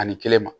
Ani kelen ma